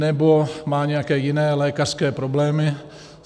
Nebo má nějaké jiné lékařské problémy.